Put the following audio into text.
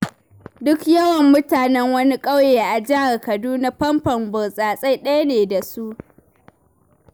Duk yawan mutanen wani ƙauye a jihar Kaduna fanfon burtsatse ɗaya ne da su.